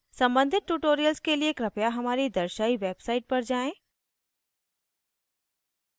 सम्बंधित tutorials के लिए कृपया हमारी दर्शायी website पर जाएँ: